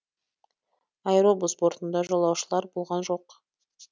аэробус бортында жолаушылар болған жоқ